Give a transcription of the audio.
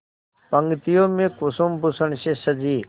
पंक्तियों में कुसुमभूषण से सजी